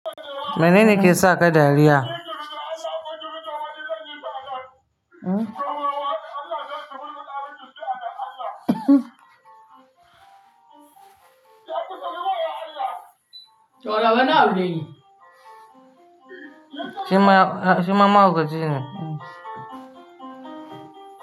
Menene ke saka dariya? Ma, shi ma mahaukaci ne.